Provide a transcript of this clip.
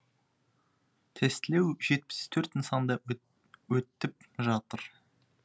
тестілеу жетпіс төрт нысанда өттіп жатыр